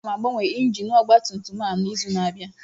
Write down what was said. Aga m agbanwe injin ọgba tum tum a n'izu na-abịa